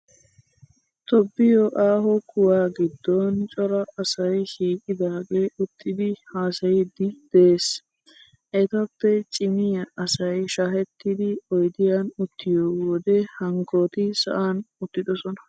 Tobbiyoo aaho kuwaa giddon cora asayi shiiqidaagee uttidi haasayiidi des. Etappe cimiyaa asayi shaahettidi oyidiyan uttiyoo wode hankkooti sa'an uttidosona.